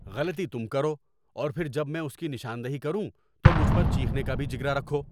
‏غلطی تم کرو اور پھر جب میں اس کی نشاندہی کروں تو مجھ پر چیخنے کا بھی جگرا رکھو۔